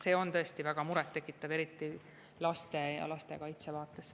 See on tõesti väga murettekitav, eriti laste ja lastekaitse vaates.